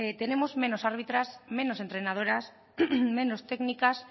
tenemos menos arbitras menos entrenadoras menos técnicas